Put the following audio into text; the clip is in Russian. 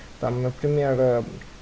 там например ээ